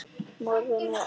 Morfín er helst gefið